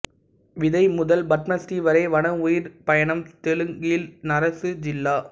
விதை முதல் பத்மஸ்ரீ வரை வன உயிர் பயணம்தெலுங்கில் நரேசு ஜில்லா